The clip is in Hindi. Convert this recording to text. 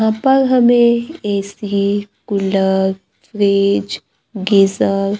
हर पल हमें ए_सी कूलर फ्रिज गीसर --